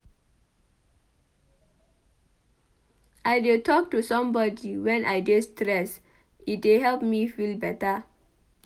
I dey talk to somebodi wen I dey stressed e dey help me feel beta.